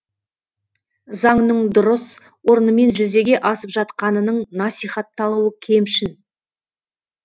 заңның дұрыс орнымен жүзеге асып жатқанының насихатталуы кемшін